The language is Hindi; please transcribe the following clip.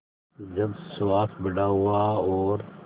जब सुहास बड़ा हुआ और